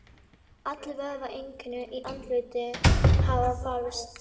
Allir vöðvar, einkum í andliti, hafa fyllst.